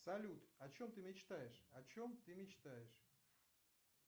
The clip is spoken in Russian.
салют о чем ты мечтаешь о чем ты мечтаешь